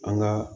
An ka